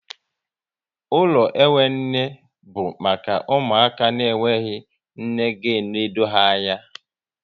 Ụlọ enwe nne bụ maka ụmụaka na enweghị nne ga enode ha anya